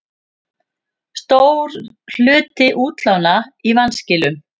Stór hluti útlána í vanskilum